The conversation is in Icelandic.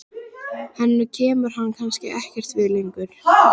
Henni kemur hann kannski ekkert við lengur.